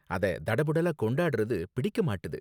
அத தடபுடலா கொண்டாடுறது பிடிக்க மாட்டுது.